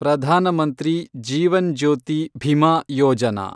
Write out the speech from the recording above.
Pradhan Mantri Jeevan Jyoti Bima Yojana